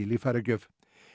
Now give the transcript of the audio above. líffæragjöf